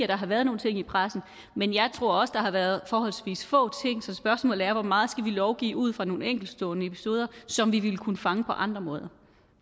der har været nogle ting i pressen men jeg tror også der har været forholdsvis få ting så spørgsmålet er hvor meget vi skal lovgive ud fra nogle enkeltstående episoder som vi ville kunne fange på andre måder